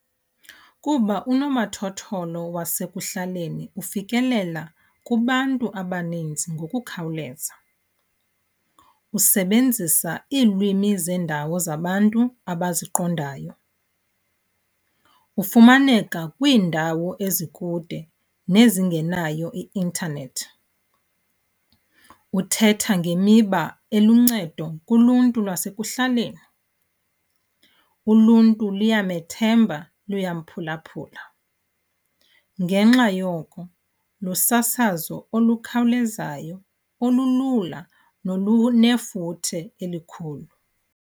Kuba unomathotholo wasekuhlaleni ufikelela kubantu abaninzi ngokukhawuleza, usebenzisa iilwimi zendawo zabantu abaziqondayo, ufumaneka kwiindawo ezikude nezingenayo i-intanethi, uthetha ngemiba eluncedo kuluntu lwasekuhlaleni, uluntu liyamethemba, luyamphulaphula. Ngenxa yoko lusasazo olukhawulezayo olulula nolunefuthe elikhulu.